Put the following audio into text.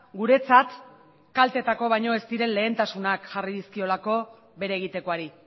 guretzat kaltetako baino ez diren lehentasunak jarri dizkiolako bere egitekoari